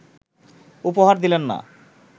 উপহার দিলেন না